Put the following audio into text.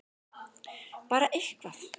Bara eitthvað!!!